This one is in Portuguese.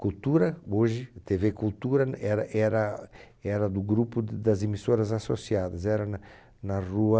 Cultura, hoje, Tevê Cultura era era era do grupo d das emissoras associadas, era n na rua...